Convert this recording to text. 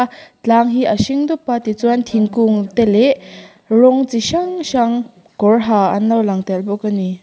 tlang hi a hring dup a tichuanin thingkung te leh rawng chi hrang hrang kawr ha an lo lang tel bawk a ni.